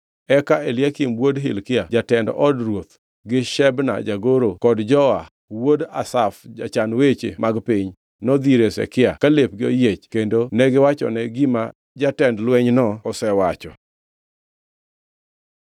Eka Eliakim wuod Hilkia jatend od ruoth, gi Shebna jagoro kod Joa wuod Asaf jachan weche mag piny nodhi ir Hezekia, ka lepgi oyiech kendo negiwachone gima jatend lwenyno osewacho.